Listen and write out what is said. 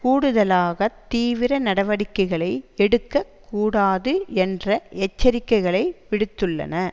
கூடுதலாகத் தீவிர நடவடிக்கைகளை எடுக்க கூடாது என்ற எச்சரிக்கைகளை விடுத்துள்ளன